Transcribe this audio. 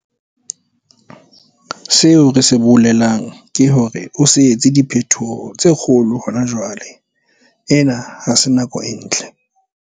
Seo re se bolelang ke hore o se etse diphetoho tse kgolo hona jwale, ena ha se nako e ntle.